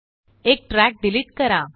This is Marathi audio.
एक ट्रॅक डिलीट करा